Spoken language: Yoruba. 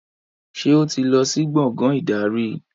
Ṣé o ti lọ sí gbàngán ìdarí?